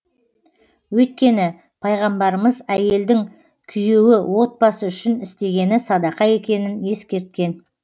өйткені пайғамбарымыз әйелдің күйеуі отбасы үшін істегені садақа екенін ескерткен